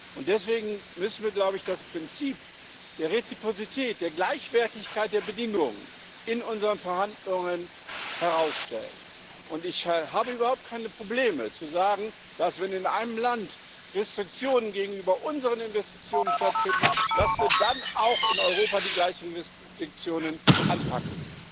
Und deswegen müssen wir das Prinzip der Reziprozität, der Gleichwertigkeit der Bedingungen, in unseren Verhandlungen herausstellen. Ich habe überhaupt keine Probleme zu sagen, dass, wenn in einem Land Restriktionen gegenüber unseren Investitionen stattfinden, wir dann auch in Europa die gleichen Restriktionen anpacken.